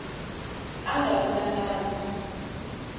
a nga ri na nandzu